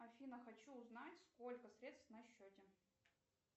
афина хочу узнать сколько средств на счете